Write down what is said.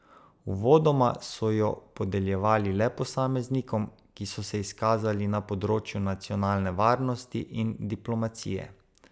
Uvodoma so jo podeljevali le posameznikom, ki so se izkazali na področju nacionalne varnosti in diplomacije.